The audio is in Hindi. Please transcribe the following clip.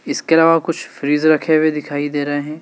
इसके अलावा कुछ फ्रिज रखे हुए दिखाई दे रहे हैं।